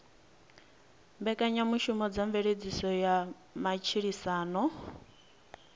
mbekanyamushumo dza mveledziso ya matshilisano